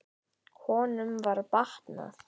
Honum var batnað.